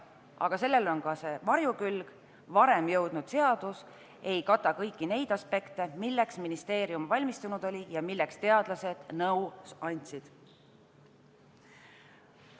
Aga sellel on ka varjukülg – varem jõudnud seadus ei kata kõiki neid aspekte, milleks ministeerium valmistunud oli ja milleks teadlased nõu andsid.